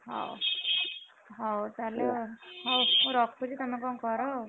ହଉ ହଉ ହଉ ତାହେଲେ ହଉ ମୁଁ ରଖୁଛି ତମେ କଣ କର ଆଉ।